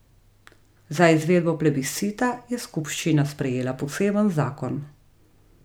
Za izvedbo plebiscita je skupščina sprejela poseben zakon.